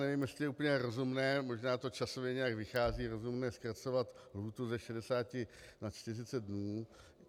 Nevím, jestli je úplně rozumné, možná to časově nějak vychází, rozumné zkracovat lhůtu ze 60 na 40 dnů.